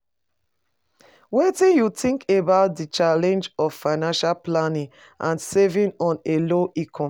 Wetin you think about di challenge of financial planning and saving on a low income?